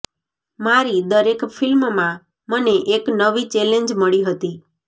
મારી દરેક ફિલ્મમાં મને એક નવી ચૅલેન્જ મળી હતી